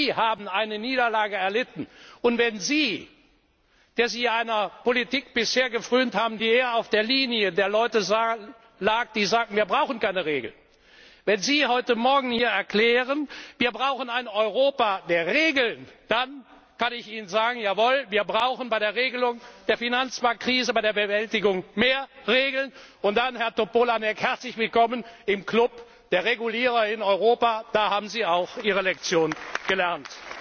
selbst. Die haben eine Niederlage erlitten, und wenn Sie, der Sie bisher einer Politik gefrönt haben, die eher auf der Linie der Leute lag, die sagten, wir brauchen keine Regeln, heute morgen hier erklären, wir brauchen ein Europa der Regeln, dann kann ich Ihnen nur sagen, jawohl, wir brauchen bei der Regelung der Finanzmarktkrise, bei ihrer Bewältigung mehr Regeln, und, Herr Topolánek, herzlich willkommen im Club der Regulierer in Europa, dann haben auch Sie Ihre Lektion